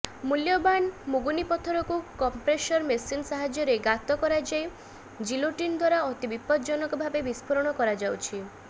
ମୂଲ୍ୟବାନ ମୁଗୁନିପଥରକୁ compressor machine ସାହାଯ୍ୟରେ ଗାତ କରାଯାଇ ଜିଲୋଟିନ୍ ଦ୍ୱାରା ଅତି ବିପଦଜନକ ଭାବେ ବିସ୍ଫୋରଣ କରାଯାଉଛି